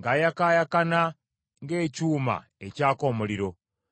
ng’ayakaayakana ng’ekyuma ekyaka omuliro.